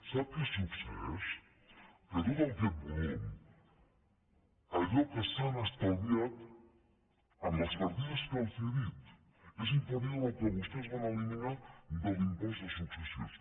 sap què succeeix que tot aquest volum allò que s’han estalviat en les partides que els he dit és inferior al que vostès van eliminar de l’impost de successions